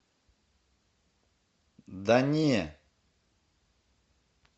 да не